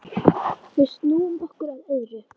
Við snúum okkur að öðru.